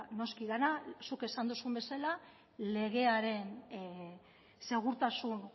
noski dena zuk esan duzun bezala legearen segurtasun